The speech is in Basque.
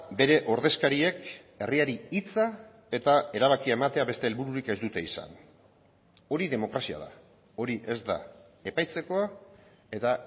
bere ordezkariek herriari hitza eta erabakia ematea beste helbururik ez dute izan hori demokrazia da hori ez da epaitzekoa eta